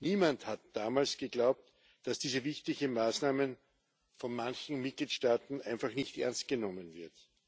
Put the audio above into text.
Niemand hat damals geglaubt, dass diese wichtige Maßnahme von manchen Mitgliedstaaten einfach nicht ernst genommen wird.